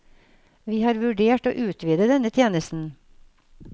Vi har vurdert å utvide denne tjenesten.